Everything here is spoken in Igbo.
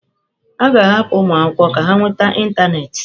A ga-ahapụ ụmụ akwụkwọ ka ha nweta ịntanetị.